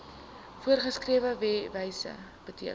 voorgeskrewe wyse beteken